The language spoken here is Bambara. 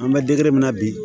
An bɛ min na bi